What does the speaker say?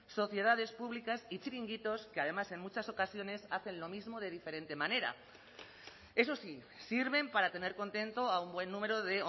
sociedades públicas y chiringuitos que además en muchas ocasiones hacen lo mismo de diferente manera eso sí sirven para tener contento a un buen número de